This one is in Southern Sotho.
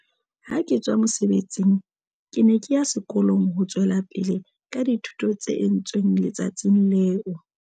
Ha ke tswa mosebetsing, ke ne ke ya sekolong ho tswela pele ka dithuto tse entsweng le tsatsing leo.